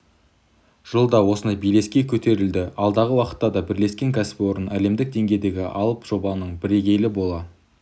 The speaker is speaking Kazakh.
жылда осындай белеске көтерілді алдағы уақытта да бірлескен кәсіпорын әлемдік деңгейдегі алып жобаның бірегейі бола